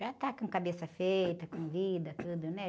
Já tá com cabeça feita, com vida, tudo, né?